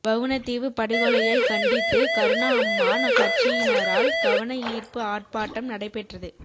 வவுணதீவு படுகொலையை கண்டித்து கருணா அம்மான் கட்சியினரால் கவனயீர்ப்பு ஆட்பாட்டம் நடைபெற்றது